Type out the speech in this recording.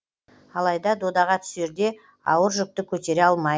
алайда додаға түсерде ауыр жүкті көтере алмайды